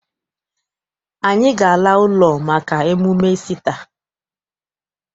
Anyị ga- ala ụlọ maka emume Isita.